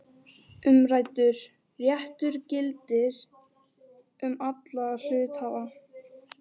Umræddur réttur gildir um alla hluthafa.